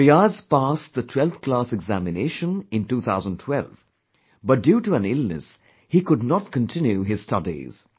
Fiaz passed the 12thclass examination in 2012, but due to an illness, he could not continue his studies